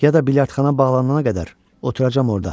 Ya da biljardxana bağlanana qədər oturacam orda.